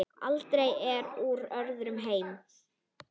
Alda er úr öðrum heimi.